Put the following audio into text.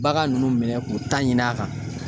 Bagan nunnu minɛ k'u ta ɲini a kan.